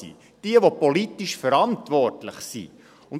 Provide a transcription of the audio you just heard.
Diejenigen, die politisch verantwortlich sind.